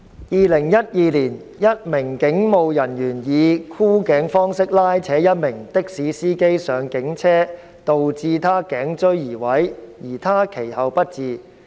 2012年，一名警務人員以箍頸方式拉扯一名的士司機上警車導致他頸椎移位，而他其後不治。